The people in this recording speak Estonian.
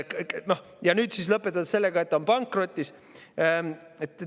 Ja siis lõpetaks sellega, et see on pankrotis.